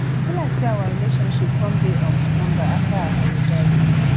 e be like say our relationship come dey um stronger after i apologize